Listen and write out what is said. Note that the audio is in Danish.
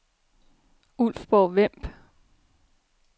Ulfborg-Vemb